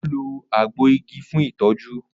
o lo àgbo ìgi fún itọju